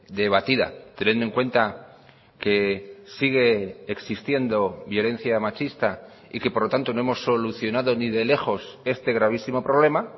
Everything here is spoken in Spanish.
debatida teniendo en cuenta que sigue existiendo violencia machista y que por lo tanto no hemos solucionado ni de lejos este gravísimo problema